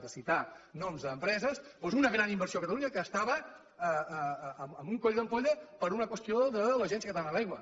de citar noms d’empreses doncs una gran inversió a catalunya que estava en un coll d’ampolla per una qüestió de l’agència catalana de l’aigua